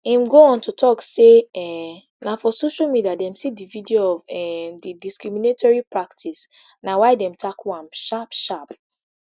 im go on to tok say um na for social media dem see di video of um di discriminatory practice na why dem tackle am sharp sharp